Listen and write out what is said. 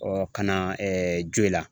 Ɔ ka na Joyila